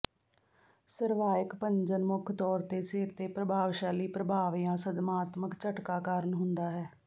cervical ਭੰਜਨ ਮੁੱਖ ਤੌਰ ਤੇ ਸਿਰ ਦੇ ਪ੍ਰਭਾਵਸ਼ਾਲੀ ਪ੍ਰਭਾਵ ਜਾਂ ਸਦਮਾਤਮਕ ਝਟਕਾ ਕਾਰਨ ਹੁੰਦਾ ਹੈ